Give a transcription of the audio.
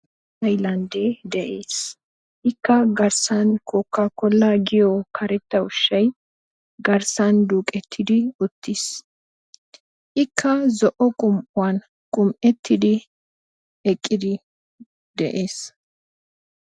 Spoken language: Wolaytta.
Haylandde de'ees. Ikka garssan Kookakola giyo karetta ushshay garssan duuqetidi uttiis. Ikka zo'o qumm'uwan qumm"ettidi eqqidi de'ees.